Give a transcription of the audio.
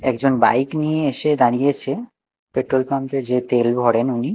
একজন বাইক নিয়ে এসে দাঁড়িয়েছে পেট্রোল পাম্প -এ যে তেল ভরেন উনি।